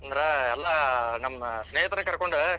ಅಂದ್ರ ಎಲ್ಲಾ ನಮ್ಮ ಸ್ನೇಹಿತರ ಕರಕೊಂಡ.